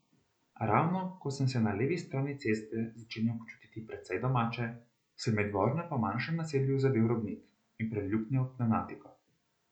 Ravno ko sem se na levi strani ceste začenjal počutiti precej domače, sem med vožnjo po manjšem naselju zadel robnik in preluknjal pnevmatiko.